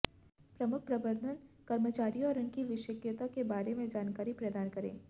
प्रमुख प्रबंधन कर्मचारियों और उनकी विशेषज्ञता के बारे में जानकारी प्रदान करें